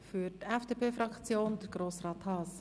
Für die FDP-Fraktion spricht Grossrat Haas.